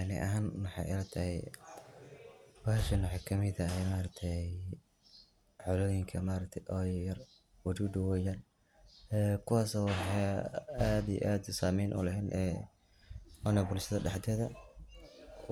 Ani ahaan waxaay ila tahay bahashan waxeey kamid tahay, xolooyinka yar yar, wadudu yar yar, ee kuwaas oo aad iyo aad sameyn uleh bulshada dexdeeda,